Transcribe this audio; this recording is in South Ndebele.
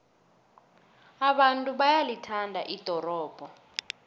abantu bayalithanda ldorobho